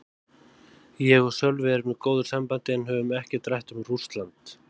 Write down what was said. Ég og Sölvi erum í góðu sambandi en höfum ekkert rætt um Rússland.